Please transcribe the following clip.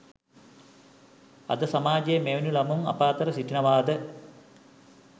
අද සමාජයේ මෙවැනි ළමුන් අප අතර සිටිනවාද